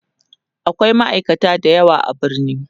akwai ma'aikata da yawa a birni